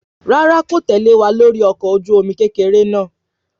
Rárá kò tẹ̀lẹ́ wa lórí ọkọ̀ ojú omi kékeré náà